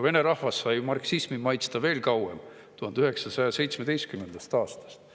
Vene rahvas sai marksismi maitsta veel kauem, 1917. aastast.